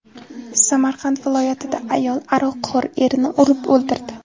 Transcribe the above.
Samarqand viloyatida ayol aroqxo‘r erini urib o‘ldirdi.